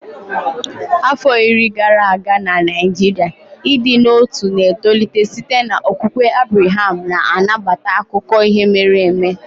Afọ iri gara aga na Naijiria, ịdị n'otu na-etolite site n'okwukwe Abreham na-anabata akụkọ ihe mere eme.